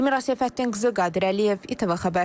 Elmira Səfəddinqızı, Qadir Əliyev, İTV xəbər.